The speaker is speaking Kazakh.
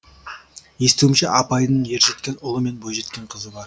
естуімше апайдың ержеткен ұлы мен бойжеткен қызы бар